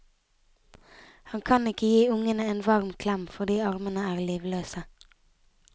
Han kan ikke gi ungene en varm klem fordi armene er livløse.